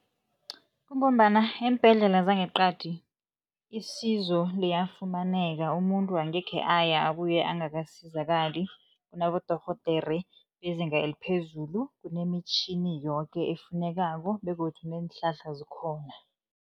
Kungombana eembhedlela zangeqadi isizo liyafumaneka, umuntu angekhe aya abuye angakasizakali. Kunabodorhodere bezinga eliphezulu, kunemitjhini yoke efunekako begodu neenhlahla zikhona.